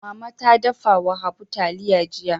Mama ta dafa wa Habu taliya jiya.